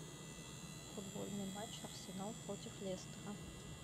футбольный матч арсенал против лестера